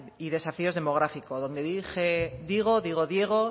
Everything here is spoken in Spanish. y desafíos demográficos donde dije digo digo diego